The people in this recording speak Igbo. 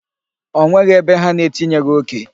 O nweghị ebe ha na-etinyeghi oke.